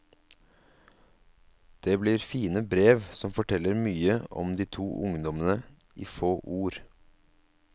Det blir fine brev som forteller mye om de to ungdommene i få ord.